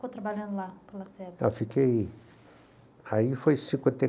Quanto tempo você ficou trabalhando lá, para o Lacerda? Eu fiquei... Aí foi cinquenta e